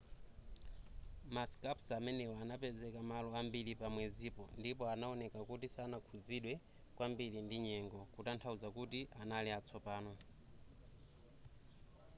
ma scarps amenewa anapezeka malo ambiri pa mwezipo ndipo anaoneka kuti sanakhuzidwe kwambiri ndi nyengo kutanthauza kuti anali atsopano